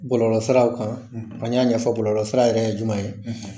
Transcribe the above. Bɔlɔlɔsiraw kan an y'a ɲɛfɔ bɔlɔlɔsira yɛrɛ ye jumɛn ye.